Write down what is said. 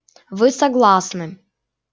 вы согласны